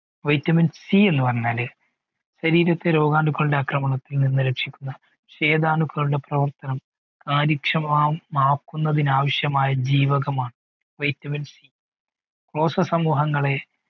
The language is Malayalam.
vitaminC എന്ന് പറഞ്ഞാൽ ശരീരത്തിലെ രോഗാണുക്കളുടെ ആക്രമണത്തിൽ നിന്ന് രക്ഷിക്കുന്ന ശീദ അണുകളുടെ പ്രവർത്തനം കാര്യക്ഷമമാക്കുന്നതിന് ആവശ്യമായ ജീവകമാണ് vitamin കോശസമൂഹങ്ങളെ